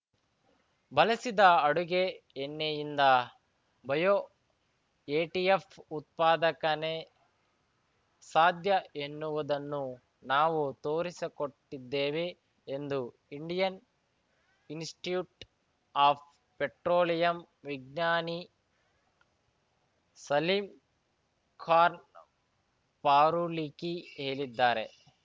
ಬಳಸಿದ ಅಡುಗೆ ಎಣ್ಣೆಯಿಂದ ಬಯೋ ಎಟಿಎಫ್‌ ಉತ್ಪಾದಕನೆ ಸಾಧ್ಯ ಎನ್ನುವುದನ್ನು ನಾವು ತೋರಿಸಕೊಟ್ಟಿದ್ದೇವೆ ಎಂದು ಇಂಡಿಯನ್‌ ಇನ್‌ಸ್ಟಿಟ್ಯೂಟ್‌ ಆಫ್‌ ಪೆಟ್ರೋಲಿಯಂ ವಿಜ್ಞಾನಿ ಸಲೀಮ್‌ ಖಾರ್ನ್ ಫಾರೂಲಿಖಿ ಹೇಳಿದ್ದಾರೆ